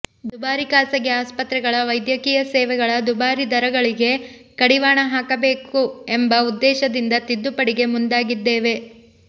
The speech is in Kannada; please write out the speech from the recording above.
ದುಬಾರಿ ಖಾಸಗಿ ಆಸ್ಪತ್ರೆಗಳ ವೈದ್ಯಕೀಯ ಸೇವೆಗಳ ದುಬಾರಿ ದರಗಳಿಗೆ ಕಡಿವಾಣ ಹಾಕಬೇಕು ಎಂಬ ಉದ್ದೇಶದಿಂದ ತಿದ್ದುಪಡಿಗೆ ಮುಂದಾಗಿದ್ದೇವೆ